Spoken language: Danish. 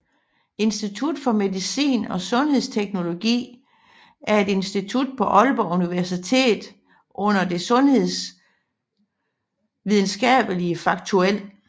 Institut for Medicin og Sundhedsteknologi er et institut på Aalborg Universitet under Det Sundhedsvidenskabelige Fakultet